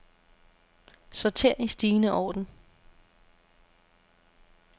Sorter i stigende orden.